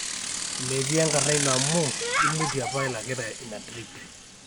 metii enkarna ino amu imutie apa ilakita ina trip